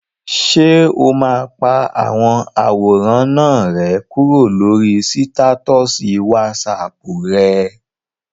Ṣé o máa pa àwọn àwòrán náà rẹ́ kúrò lórí sítátọ̀sì wásaàpù rẹ?